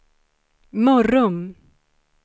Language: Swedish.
Mörrum